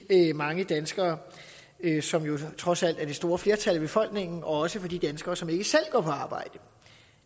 mange danskere som trods alt er det store flertal af befolkningen og også for de danskere som ikke selv går på arbejde